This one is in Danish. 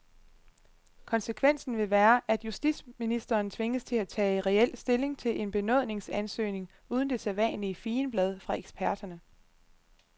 Konsekvensen vil være, at justitsministeren tvinges til at tage reel stilling til en benådningsansøgning uden det sædvanlige figenblad fra eksperterne.